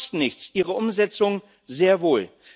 Ideen kosten nichts, ihre Umsetzung sehr wohl!